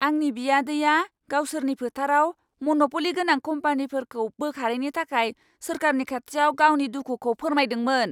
आंनि बियादैआ गावसोरनि फोथाराव मन'प'लि गोनां कम्पानिफोरखौ बोखारैनि थाखाय सोरखारनि खाथियाव गावनि दुखुखौ फोरमायदोंमोन।